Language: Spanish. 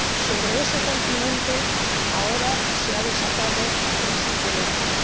Sobre ese continente ahora se ha desatado la crisis del ébola.